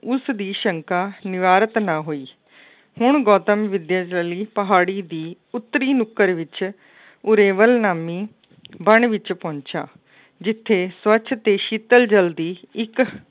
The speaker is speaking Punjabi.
ਉਸਦੀ ਸ਼ੰਕਾ ਨਿਵਾਰਤ ਨਾ ਹੋਈ। ਹੁਣ ਗੌਤਮ ਵਿੱਦਿਆ ਦੇ ਲਈ ਪਹਾੜੀ ਦੀ ਉੱਤਰੀ ਨੁੱਕਰ ਵਿੱਚ ਉਰੇਵਲ ਨਾਮੀ ਵਣ ਵਿੱਚ ਪਹੁੰਚਿਆ। ਜਿੱਥੇ ਸਵੱਛ ਅਤੇ ਸ਼ੀਤਲ ਜਲ ਦੀ ਇੱਕ